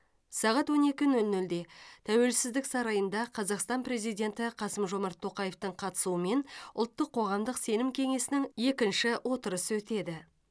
сағат он екі нөл нөлде тәуелсіздік сарайында қазақстан президенті қасым жомарт тоқаевтың қатысуымен ұлттық қоғамдық сенім кеңесінің екінші отырысы өтеді